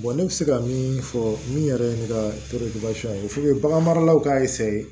ne bɛ se ka min fɔ min yɛrɛ ye ne ka ye bagan maralaw ka